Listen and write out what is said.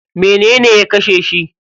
Menene ya kashe shi?